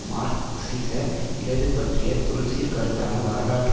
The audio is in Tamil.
மார்க்சிச இடது பற்றிய தொல்சீர் கருத்தான வரலாற்று